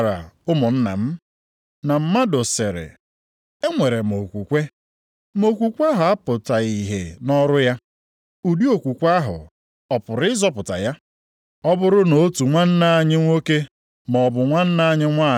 Nʼihi na agaghị emere onye ọbụla ebere nke na-adịghị emere onye ọzọ ebere. Nʼihi na ebere na-adị ukwuu karịa ikpe ọmụma ya. Okwukwe na omume